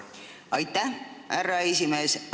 Aitäh, härra esimees!